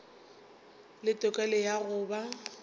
le tokelo ya go ba